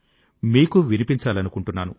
మీకూ వినిపించాలనుకుంటున్నాను